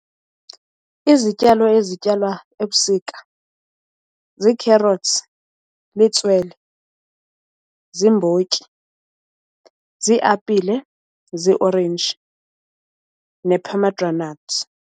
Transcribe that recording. Izityalo ezityalwa ebusika zii-carrots, litswele, ziimbotyi, ziiapile, ziiorenji ne-pomegranate.